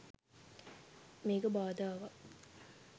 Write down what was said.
මේක බාධාවක්